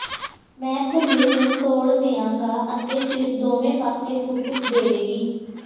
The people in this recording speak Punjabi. ਮੈਂ ਥੱਲੇ ਨੂੰ ਤੋੜ ਦਿਆਂਗਾ ਅਤੇ ਫਿਰ ਦੋਵੇਂ ਪਾਸੇ ਫੁੱਟ ਦੇਵੇਗੀ